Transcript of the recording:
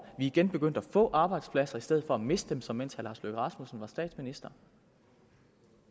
igen begyndt at få arbejdspladser i stedet for at miste dem som mens herre lars løkke rasmussen var statsminister